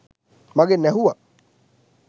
මගෙන් ඇහුවා